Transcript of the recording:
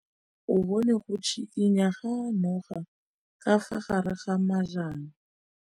O bone go tshikinya ga noga ka fa gare ga majang.